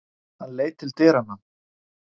Hann leit til dyranna.